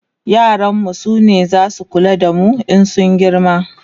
yaran mu sune zasu kula da mu in sun girma